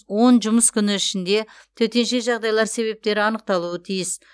он жұмыс күні ішінде төтенше жағдайлар себептері анықталуы тиіс